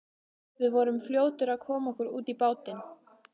Við vorum fljótir að koma okkur út í bátinn.